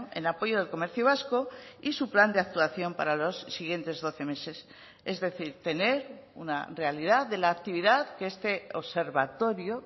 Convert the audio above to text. en apoyo del comercio vasco y su plan de actuación para los siguientes doce meses es decir tener una realidad de la actividad que este observatorio